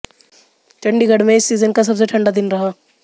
चंडीगढ़ में इस सीजन का सबसे ठंडा दिन रहा